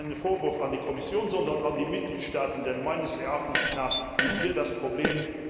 Dies ist kein Vorwurf an die Kommission, sondern an die Mitgliedstaaten, denn meines Erachtens liegt hier das Problem.